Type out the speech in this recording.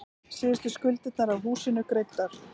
Síðustu skuldirnar af húsinu greiddar.